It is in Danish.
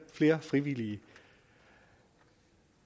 flere frivillige